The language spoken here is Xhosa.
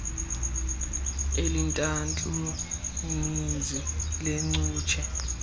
elintantlu ninzi leencutshe